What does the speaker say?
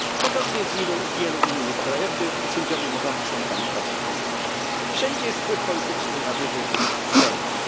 Podobnie jest w wielu innych krajach, gdzie sędziowie mogą być członkami partii politycznej. Wszędzie jest wpływ polityczny na wybór sędziów.